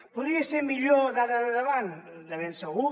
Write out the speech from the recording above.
podria ser millor d’ara endavant de ben segur